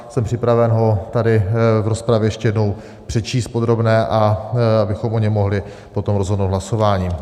Jsem připraven ho tady v rozpravě ještě jednou přečíst v podrobné, abychom o něm mohli potom rozhodnout hlasováním.